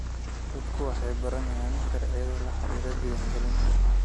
Dadku waxay baranayaan sharciyada la xiriira diiwaangelinta.